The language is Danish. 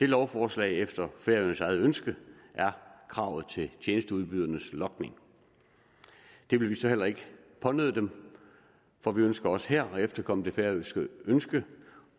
lovforslag er efter færøernes eget ønske kravet til tjenesteudbydernes logning det vil vi så heller ikke pånøde dem for vi ønsker også her at efterkomme det færøske ønske